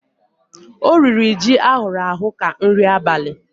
O riri ji ahụrụ ahụ ka nri abali.